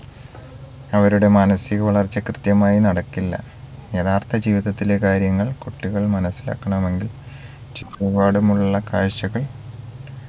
അവരുടെ മാനസിക വളർച്ച കൃത്യമായി നടക്കില്ല യഥാർത്ഥ ജീവിതത്തിലെ കാര്യങ്ങൾ കുട്ടികൾ മനസ്സിലാക്കണമെങ്കിൽ ചുറ്റുപാടുമുള്ള കാഴ്ചകൾ